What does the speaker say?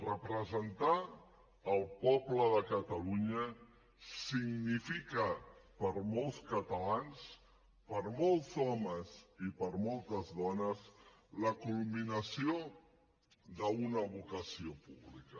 representar el poble de catalunya significa per molts catalans per molts homes i per moltes dones la culminació d’una vocació pública